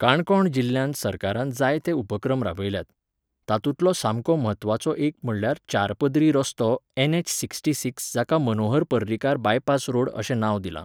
काणकोण जिल्ल्यांत सरकारान जाय ते उपक्रम राबयल्यात. तातुंलो सामको म्हत्वाचो एक म्हणल्यार चार पदरी रस्तो एन एच सिक्स्टी सिक्स जाका मनोहर पर्रीकार बायपास रोड अशें नांव दिलां